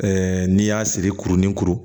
n'i y'a siri kurun ni kuru